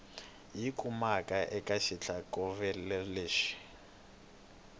yi kumaka eka xitlhokovetselo lexi